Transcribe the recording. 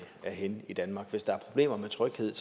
er henne i danmark hvis der er problemer med tryghed